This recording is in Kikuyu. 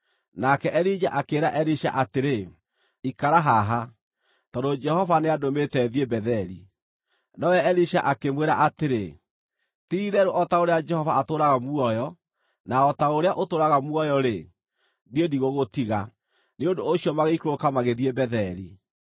Nake Elija akĩĩra Elisha atĩrĩ, “Ikara haha; tondũ Jehova nĩandũmĩte thiĩ Betheli.” Nowe Elisha akĩmwĩra atĩrĩ, “Ti-itherũ o ta ũrĩa Jehova atũũraga muoyo na o ta ũrĩa ũtũũraga muoyo-rĩ, niĩ ndigũgũtiga” Nĩ ũndũ ũcio magĩikũrũka magĩthiĩ Betheli.